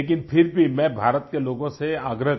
लेकिन फिर भी मैं भारत के लोगों से आग्रह